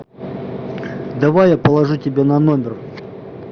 давай я положу тебе на номер